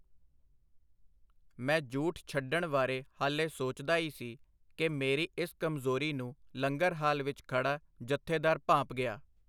ਮੈਂ ਜੂਠ ਛੱਡਣ ਵਾਰੇ ਹਾਲੇ ਸੋਚਦਾ ਈ ਸੀ, ਕਿ ਮੇਰੀ ਇੱਸ ਕਮਜ਼ੋਰੀ ਨੂੰ ਲੰਗਰ ਹਾਲ ਵਿੱਚ ਖੜਾ ਜਥੇਦਾਰ ਭਾਂਪ ਗਿਆ.